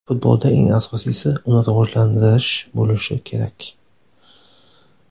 Futbolda eng asosiysi uni rivojlantirish bo‘lishi kerak.